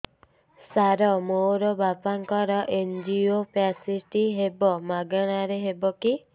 ସାର ମୋର ବାପାଙ୍କର ଏନଜିଓପ୍ଳାସଟି ହେବ ମାଗଣା ରେ ହେବ କି